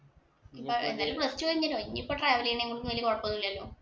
എന്തായാലും plus two കഴിഞ്ഞല്ലോ. ഇനി ഇപ്പൊ travelling ഇനും ഒന്നും വലിയ കൊഴപ്പം ഒന്നുമില്ലല്ലോ.